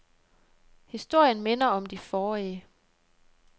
Historien minder om de forrige.